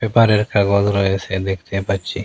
পেপারের কাগজ রয়েসে দেখতে পাচ্ছি।